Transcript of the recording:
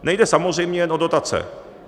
Nejde samozřejmě jen o dotace.